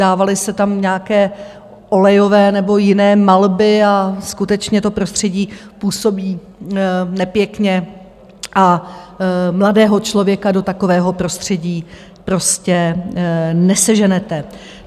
dávaly se tam nějaké olejové nebo jiné malby a skutečně to prostředí působí nepěkně a mladého člověka do takového prostředí prostě neseženete.